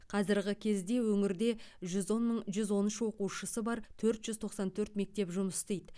қазірғі кезде өңірде жүз он мың жүз он үш оқушысы бар төрт жүз тоқсан төрт мектеп жұмыс істейді